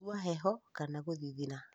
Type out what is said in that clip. kũigua heho kana gũthigina